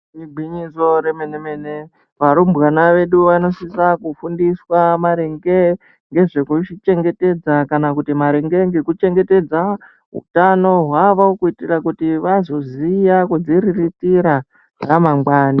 Igwinyiso remene mene varumbwana vedu vanosisa kufundiswa maringe ngezvekuchengetedza kana kuti maringe ngeku chengetedza utano hwavo kuitira kuti vazoziya kudzi riritira ramangwani.